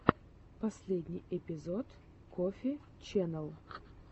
первый эпизод коффи ченнэл